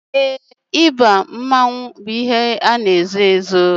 Éè, ịba mmanwu bụ ihe zoro ezo